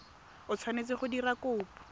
o tshwanetseng go dira kopo